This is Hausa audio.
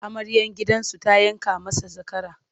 Amaryar gidansu ta yanka masa zakara.